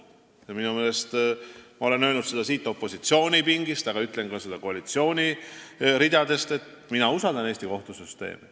Ja ma olen seda öelnud siit opositsiooni pingist, aga ütlen seda ka koalitsiooni ridadest, et mina usaldan Eesti kohtusüsteemi.